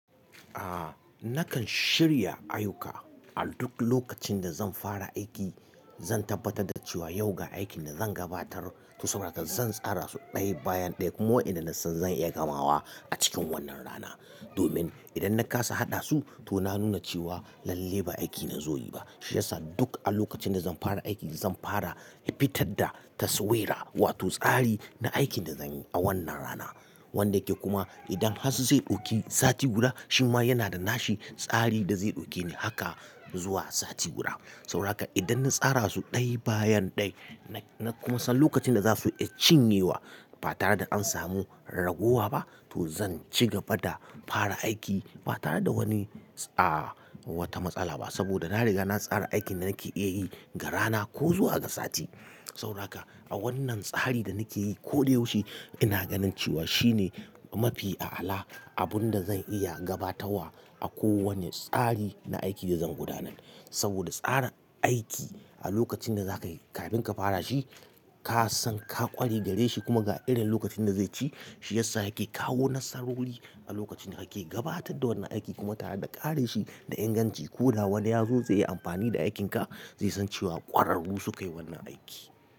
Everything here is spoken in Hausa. Ah, nakan shirya ayuka a duk lokacin da zan fara aiki. Zan tabbatar da cewa yau ga aikin da zan gabatar, to sabo da haka zan tsara su ɗaya bayan ɗaya. Kuma inda na san zan iya gamawa a cikin wannan rana. Domin idan na kasa haɗa su, to na nuna cewa lalle ba aiki na zo yi ba. Shi yasa duk a lokacin da zan fara aiki, zan fara fitar da taswira wato tsari na aikin da zan yi a wannan rana. Wanda yake kuma idan hatsi zai ɗauki sati guda, shi ma yana da nashi tsari da zai ɗauke ni haka zuwa sati guda. Sabo da haka idan na tsara su ɗaya bayan ɗaya, na kuma san lokacin da za su iya cinye wa ba tare da an samu ragowa ba, to zan ci gaba da fara aiki ba tare da wani ah wata matsala ba. Saboda na riga na tsara aikin da nake iya yi ga rana ko zuwa ga sati. Sabo da haka a wannan tsari da nake yi koyaushe ina ganin cewa shine mafi a'ala abun da zan iya gabatawa a kowane tsari na aiki da zan gudanar. Saboda tsara aiki a lokacin da za ka yi kafin ka fara shi, ka san ka ƙware gare shi kuma ga irin lokacin da zai ci, shi yasa yake kawo nasarori a lokacin da kake gabatar da wannan aiki. Kuma tare da ƙare shi da inganci ko da wani ya zo zai yi amfani da aikinka, zai san cewa ƙwararru suka yi wannan aiki.